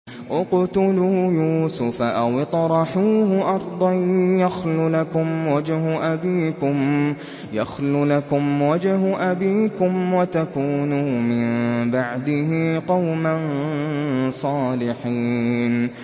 اقْتُلُوا يُوسُفَ أَوِ اطْرَحُوهُ أَرْضًا يَخْلُ لَكُمْ وَجْهُ أَبِيكُمْ وَتَكُونُوا مِن بَعْدِهِ قَوْمًا صَالِحِينَ